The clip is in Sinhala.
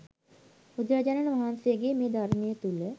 බුදුරජාණන් වහන්සේගේ මේ ධර්මය තුළ